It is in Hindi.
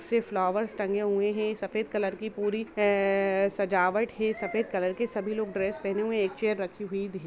सिर्फ फ्क्लावर टंगे हुए हैं सफ़ेद कलर की पूरी सजावट है सफ़ेद कलर के सभी लोग ड्रेस पहने हुए हैं एक चेयर रखी हूई दिख--